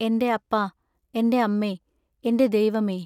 എന്റെ അപ്പാ! എന്റെ അമ്മെ എന്റെദൈവമെ!